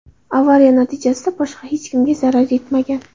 Avariya natijasida boshqa hech kimga zarar yetmagan.